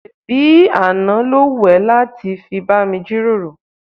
ṣébi àná ló wù ẹ́ láti bá mi jíròrò?